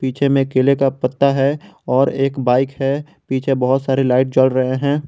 पीछे में केले का पत्ता है और एक बाइक है पीछे बहुत सारे लाइट जल रहे हैं।